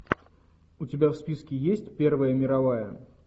у тебя в списке есть первая мировая